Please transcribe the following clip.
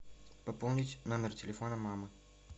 пополнить номер телефона мамы